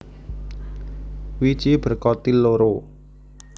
Wiji berkotil loro